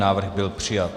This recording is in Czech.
Návrh byl přijat.